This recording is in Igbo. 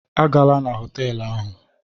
A gala na họtelụ ahụ!